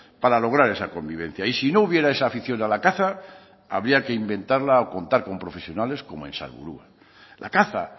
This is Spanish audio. para lograr esa convivencia y si no hubiera esa afición a la caza habría que inventarla o contar con profesionales como en salburua la caza